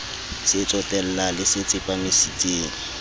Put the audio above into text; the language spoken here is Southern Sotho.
se tsotellang le se tsepamisitseng